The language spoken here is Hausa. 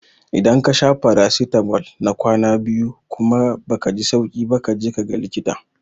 Idan kasha farasitamol na kwana biyu kuma baka ji sauki ba kaji kaga likita